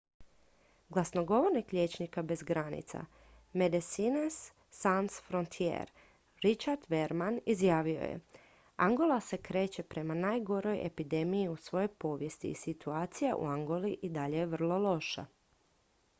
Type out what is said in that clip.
"glasnogovornik liječnika bez granica medecines sans frontiere richard veerman izjavio je: "angola se kreće prema najgoroj epidemiji u svojoj povijesti i situacija u angoli i dalje je vrlo loša"".